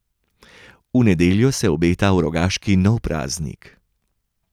V nedeljo se obeta v Rogaški nov praznik.